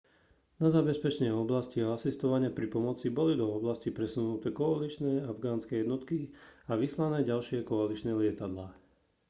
na zabezpečenie oblasti a asistovanie pri pomoci boli do oblasti presunuté koaličné a afganské jednotky a vyslané ďalšie koaličné lietadlá